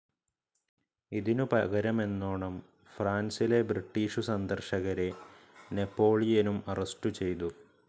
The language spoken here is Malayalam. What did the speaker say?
ഇതിനു പകരമെന്നോണം ഫ്രാൻസിലെ ബ്രിട്ടീഷു സന്ദർശകരെ നെപോളിയനും അറസ്റ്റു ചെയ്തു.